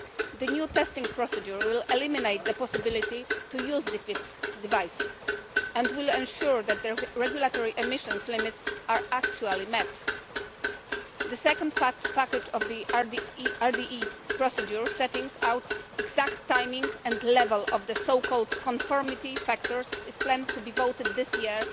The new testing procedure will eliminate the possibility of using defeat devices and it will ensure that the regulatory emissions limits are actually met. The second package of the RDE procedure, setting out the exact timing and level of what are called conformity factors, is planned to be voted on this year.